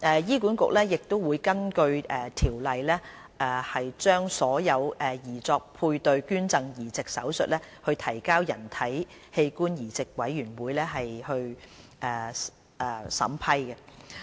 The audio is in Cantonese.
醫管局亦會根據《條例》將所有擬作配對捐贈移植手術提交人體器官移植委員會審批。